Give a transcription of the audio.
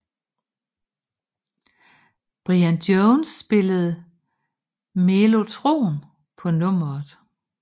Brian Jones spillede mellotron på nummeret